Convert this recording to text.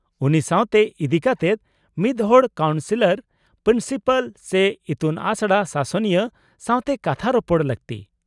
-ᱩᱱᱤ ᱥᱟᱶᱛᱮ ᱤᱫᱤ ᱠᱟᱛᱮᱫ ᱢᱤᱫᱦᱚᱲ ᱠᱟᱣᱩᱱᱥᱤᱞᱟᱨ, ᱯᱨᱤᱱᱥᱤᱯᱟᱞ ᱥᱮ ᱤᱛᱩᱱᱟᱥᱲᱟ ᱥᱟᱥᱚᱱᱤᱭᱟᱹ ᱥᱟᱶᱛᱮ ᱠᱟᱛᱷᱟ ᱨᱚᱯᱚᱲ ᱞᱟᱹᱠᱛᱤ ᱾